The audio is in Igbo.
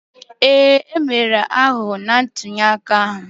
Ee, e mere aghụghọ na ntulịaka ahụ